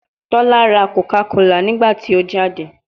Tola ra Coca Cola nigbati o jade